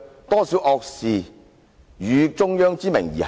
多少惡事以中央之名而行？